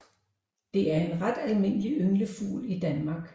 Det er en ret almindelig ynglefugl i Danmark